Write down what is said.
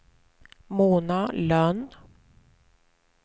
Mona Lönn